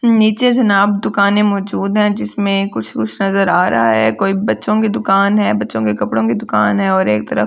नीचे से नाप दुकानें मौजूद हैं जिसमें कुछ कुछ नजर आ रहा है कोई बच्चों के दुकान है बच्चों के कपड़ों की दुकान हैं और एक तरफ --